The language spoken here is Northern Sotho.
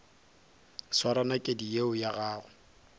swara nakedi yeo ya gago